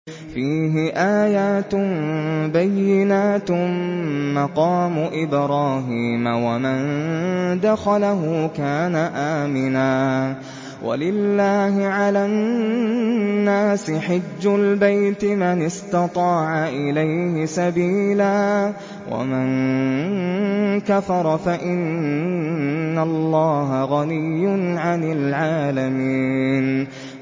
فِيهِ آيَاتٌ بَيِّنَاتٌ مَّقَامُ إِبْرَاهِيمَ ۖ وَمَن دَخَلَهُ كَانَ آمِنًا ۗ وَلِلَّهِ عَلَى النَّاسِ حِجُّ الْبَيْتِ مَنِ اسْتَطَاعَ إِلَيْهِ سَبِيلًا ۚ وَمَن كَفَرَ فَإِنَّ اللَّهَ غَنِيٌّ عَنِ الْعَالَمِينَ